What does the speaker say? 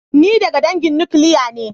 Ni daga dangin nukiliya ne.